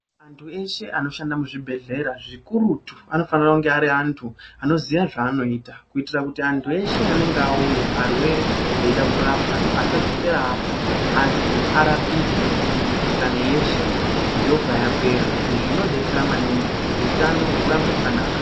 Antu eshe anoshande muzvibhedhlera zvikurutu anofanira kunge ari antu anoziya zvaanoita. Kuitira kuti antu eshe anonga auya arwere eida kurapwa asadzokera afa asi arapike mikuhlani yeshe yobva yapera. Izvi zvinobetsera maningi kuti hutano hurambe hwakanaka.